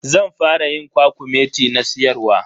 Zan fara yin kwakumeti na siyarwa.